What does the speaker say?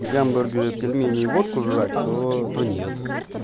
гамбургеры пельмени водку жрать то то нет